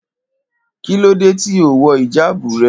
Kílódé tí o ò wo̩ ìjáàbù re̩?